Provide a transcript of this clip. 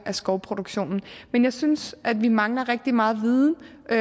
af skovproduktionen men jeg synes at vi mangler rigtig meget viden og